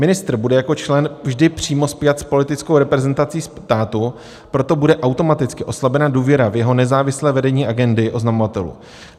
Ministr bude jako člen vždy přímo spjat s politickou reprezentací státu, proto bude automaticky oslabena důvěra v jeho nezávislé vedení agendy oznamovatelů.